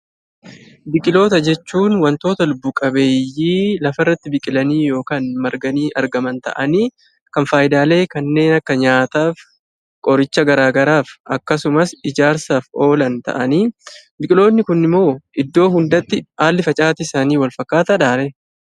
Biqiloota jechuun wantoota lubbu-qabeeyyii lafarratti biqilanii yookaan marganii argaman ta'anii kan faayidaalee kanneen akka nyaataaf, qoricha garaagaraaf akkasumas ijaarsaaf oolan ta'anii, biqiloonni kun immoo iddoo hundatti haalli facaatii isaanii walfakkaataa dhaa ree?